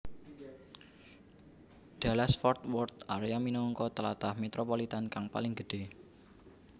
Dallas Fort Worth area minangka tlatah metropolitan kang paling gedhé